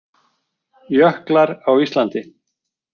Jöklar á Íslandi.